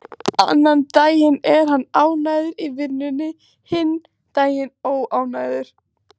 Annan daginn er hann ánægður í vinnunni, hinn daginn óánægður.